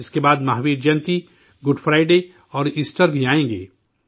اس کے بعد Mahavir Jayanti, Good Friday اور ایسٹر بھی آئیں گے